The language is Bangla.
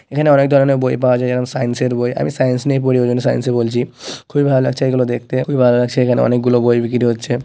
এখানে অনেক ধরনের বই পাওয়া যায় সাইন্স -এর বই আমি সাইন্স নিয়ে পড়ি ওই জন্যই সাইন্স -ই বলছি। খুবই ভালো লাগছে এগুলো দেখতে খুবই ভালো লাগছে এখানে অনেকগুলো বই বিক্রি হচ্ছে।